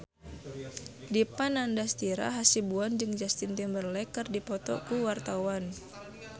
Dipa Nandastyra Hasibuan jeung Justin Timberlake keur dipoto ku wartawan